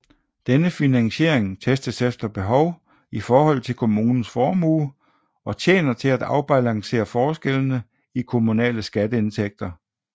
Denne finansiering testes efter behov i forhold til kommunens formue og tjener til at afbalancere forskellene i kommunale skatteindtægter